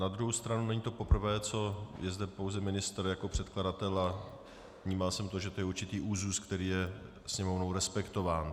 Na druhou stranu není to poprvé, co je zde pouze ministr jako předkladatel, a vnímal jsem to, že to je určitý úzus, který je Sněmovnou respektován.